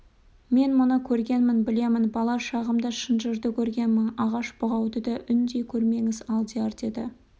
мен мұны көргенмін білемін бала шағымда шынжырды көргенмін ағаш бұғауды да үндей көрмеңіз алдияр деді